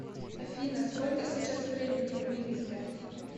афина сколько сейчас времени в минске